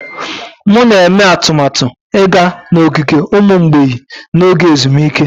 M na-eme atụmatụ ịga n'ogige ụmụ mgbei n'oge ezumike.